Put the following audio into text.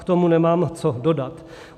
K tomu nemám co dodat.